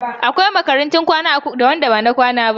Akwai makarantun kwana da ba na kwana ba.